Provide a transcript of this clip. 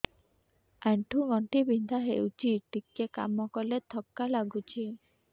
ଆଣ୍ଠୁ ଗଣ୍ଠି ବିନ୍ଧା ହେଉଛି ଟିକେ କାମ କଲେ ଥକ୍କା ଲାଗୁଚି